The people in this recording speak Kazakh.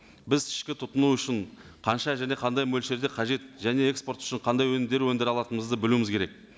біз ішкі тұтыну үшін қанша және қандай мөлшерде қажет және экспорт үшін қандай өнімдер өндіре алатынымызды білуіміз керек